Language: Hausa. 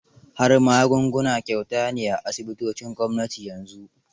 Har magunguna kyauta ne a asibitocin gwamnati yanzu.